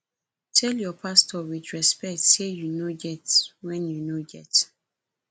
tell your pastor with respect say you no get when you no get